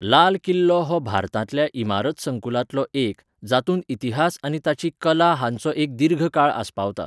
लाल किल्लो हो भारतांतल्या इमारत संकुलांतलो एक, जातूंत इतिहास आनी ताची कला हांचो एक दीर्घ काळ आस्पावता.